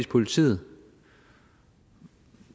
politiet